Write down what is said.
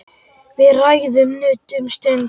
Við ræðum nudd um stund.